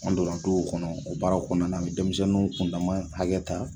An do o kɔnɔ o baara kɔnɔna na an bɛ denmisɛnninw kundama hakɛ ta.